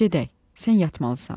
Gedək, sən yatmalısan.